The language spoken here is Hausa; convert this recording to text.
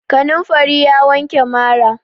Kanamfari ya wanke mara.